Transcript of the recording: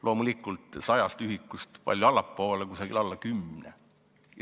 Loomulikult sajast ühikust palju allapoole, alla kümne.